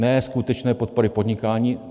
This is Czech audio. Ne skutečné podpory podnikání.